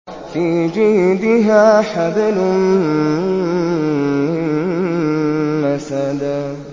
فِي جِيدِهَا حَبْلٌ مِّن مَّسَدٍ